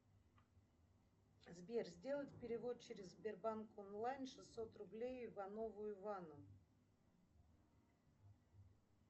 сбер сделать перевод через сбербанк онлайн шестьсот рублей иванову ивану